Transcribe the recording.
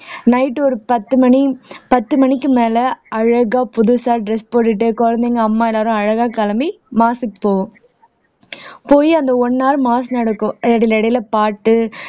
night ஒரு பத்து மணி பத்து மணிக்கு மேல அழகா புதுசா dress போட்டுட்டு குழந்தைங்க அம்மா எல்லாரும் அழகா கிளம்பி மாஸ்க்கு போவோம் போய் அந்த one hour மாஸ் நடக்கும் இடையில இடையில பாட்டு